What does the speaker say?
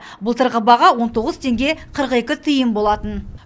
былтырғы баға он тоғыз теңге қырық екі тиын болатын